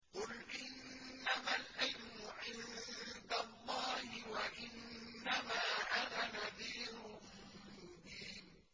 قُلْ إِنَّمَا الْعِلْمُ عِندَ اللَّهِ وَإِنَّمَا أَنَا نَذِيرٌ مُّبِينٌ